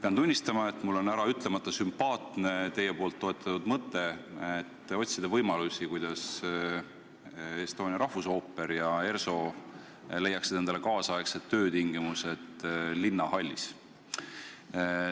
Pean tunnistama, et mulle on äraütlemata sümpaatne, et te toetate mõtet, et tuleb otsida võimalusi, kuidas rahvusooper ja ERSO saaksid kaasaegsed töötingimused linnahallis.